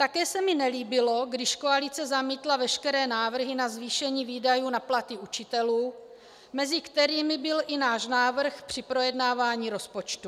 Také se mi nelíbilo, když koalice zamítla veškeré návrhy na zvýšení výdajů na platy učitelů, mezi kterými byl i náš návrh při projednávání rozpočtu.